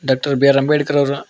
ಮತ್ತು B R Ambedkar ಅವರ.